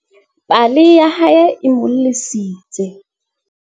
Pale ya hae e mo llisitse.